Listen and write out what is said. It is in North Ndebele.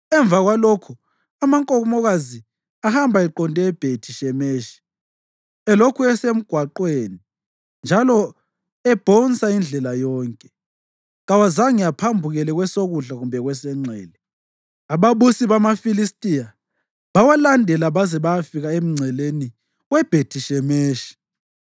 Emva kwalokho amankomokazi ahamba eqonde eBhethi-Shemeshi, elokhu esemgwaqweni njalo ebhonsa indlela yonke; kawazange aphambukele kwesokudla kumbe kwesenxele. Ababusi bamaFilistiya bawalandela baze bayafika emngceleni weBhethi Shemeshi.